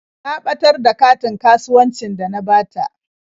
Ta ɓatar da katin kasuwancin da na bata.